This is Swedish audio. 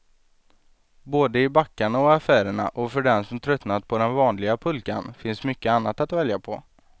Både i backarna och affärerna, och för den som tröttnat på den vanliga pulkan finns mycket annat att välja på.